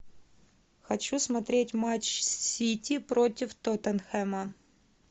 хочу смотреть матч сити против тоттенхэма